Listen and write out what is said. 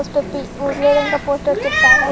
उजले रंग का पोस्टर चिपकाया--